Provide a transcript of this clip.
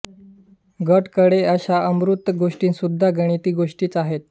गट कडे अशा अमूर्त गोष्टीसुद्धा गणिती गोष्टीच आहेत